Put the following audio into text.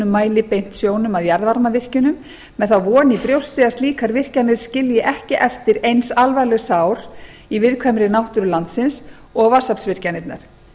mæli beint sjónum að jarðvarmavirkjunum með þá von í brjósti að slíkar virkjanir skilji ekki eftir eins alvarleg sár í viðkvæmri náttúru landsins og vatnsaflsvirkjanirnar